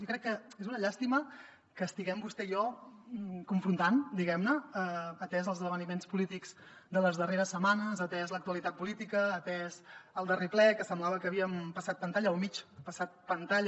i crec que és una llàstima que estiguem vostè i jo confrontant diguem ne atesos els esdeveniments polítics de les darreres setmanes atesa l’actualitat política atès el darrer ple que semblava que havíem passat pantalla o mig passat pantalla